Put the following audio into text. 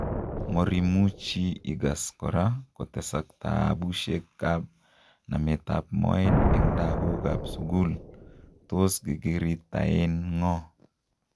Morimuchi Igas kora kotesak taabushekab nametab mooet en lagookab sugul, Tos giriritaen ng'o